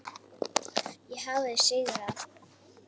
Ég hafði sigrað.